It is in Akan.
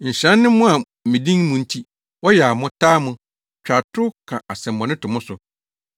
“Nhyira ne mo a me din mu nti, wɔyaw mo, taa mo, twa atoro, ka asɛmmɔne to mo so.